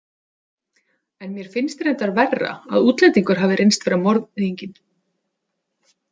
En mér finnst reyndar verra að útlendingur hafi reynst vera morðinginn.